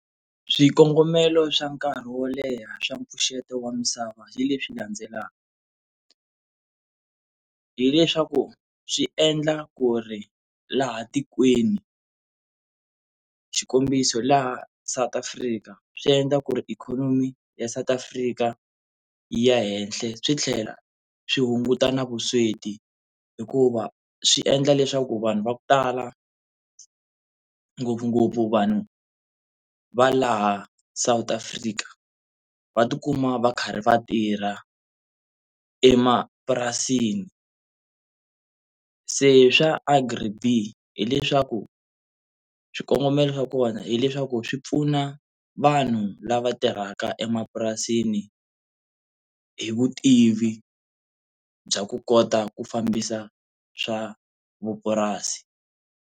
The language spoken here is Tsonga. Swikongomelo swa nkarhi wo leha swa mpfuxeto wa misava hi leswi landzelaka, hileswaku swi endla ku ri laha tikweni xikombiso laha South Africa swi endla ku ri ikhonomi ya South Afrika yi ya henhla swi tlhela swi hunguta na vusweti hikuva swi endla leswaku vanhu va ku tala ngopfungopfu vanhu va laha South Africa va tikuma va karhi va tirha emapurasini se swa Agri-B_E_E hileswaku swikongomelo swa kona hileswaku swi pfuna vanhu lava tirhaka emapurasini hi vutivi bya ku kota ku fambisa swa vupurasi.